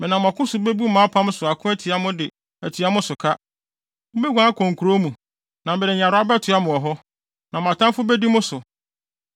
Menam ɔko so bebu mʼapam so ako atia mo de atua mo so ka. Mubeguan akɔ mo nkurow mu, na mede nyarewa bɛtoa mo wɔ hɔ. Na mo atamfo bedi mo so.